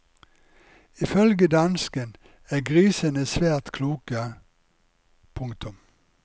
Ifølge dansken er grisene svært kloke. punktum